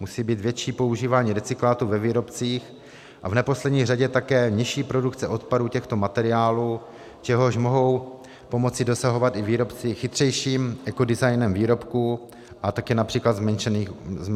Musí být větší používání recyklátů ve výrobcích a v neposlední řadě také nižší produkce odpadů těchto materiálů, čehož mohou pomoci dosahovat i výrobci chytřejším ekodesignem výrobků a také například zmenšením obalů.